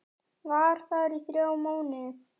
Var þar í þrjá mánuði.